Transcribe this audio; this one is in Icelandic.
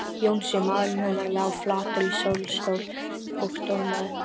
Jónsi, maðurinn hennar, lá flatur í sólstól og dormaði.